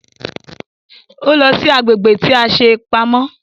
Ó lọ sí agbègbè tí a ṣe pamọ́